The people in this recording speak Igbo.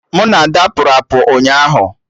Mụ na Ada pụrụ apụ ụnyaahụ